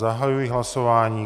Zahajuji hlasování.